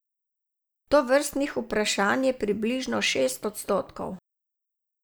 Tovrstnih vprašanj je približno šest odstotkov.